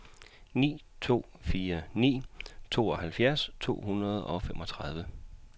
ni to fire ni tooghalvfjerds to hundrede og femogtredive